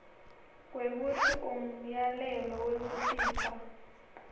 kwekutsi umyalelo wekusisa